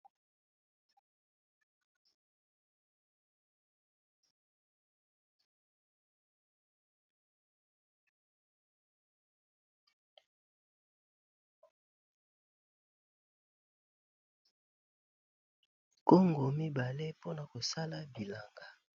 Kongo mibale mpona kosala bilanga